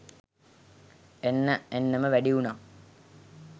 එන්න එන්නම වැඩි වුනා.